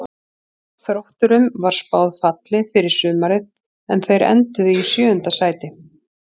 Þrótturum var spáð falli fyrir sumarið en þeir enduðu í sjöunda sæti.